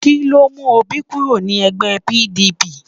Kí ló mú Òbí kúrò ní ẹgbẹ́ PDP?